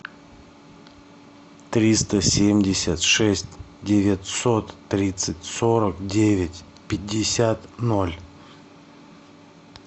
триста семьдесят шесть девятьсот тридцать сорок девять пятьдесят ноль